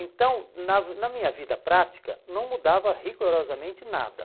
Então, na na minha vida prática, não mudava rigorosamente nada.